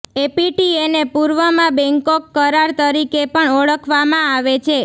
એપીટીએને પૂર્વમાં બેંકોક કરાર તરીકે પણ ઓળખવામાં આવે છે